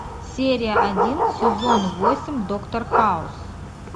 серия один сезон восемь доктор хаус